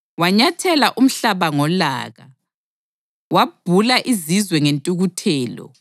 Wanyathela umhlaba ngolaka, wabhula izizwe ngentukuthelo.